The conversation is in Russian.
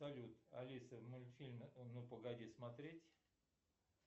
салют алиса мультфильм ну погоди смотреть